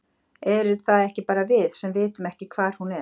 Erum það ekki bara við, sem vitum ekki hvar hún er?